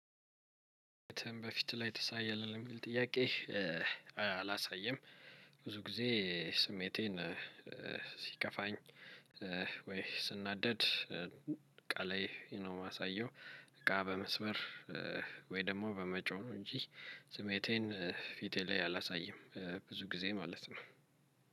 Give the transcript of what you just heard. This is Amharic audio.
በፊት ላይ ታሳያለህ ለሚለው ጥያቄ? አላሳየም ብዙ ጊዜ ስሜቴን ሲከፋኝ። ወይ ስናደድ እቃ ላይ ነው የማሳየው። እቃ በመስበር ወይ ደግሞ በመጮህ እንጂ ስሜቴን ፊቴ ላይ አላሳይም። ብዙ ጊዜ ማለት ነው።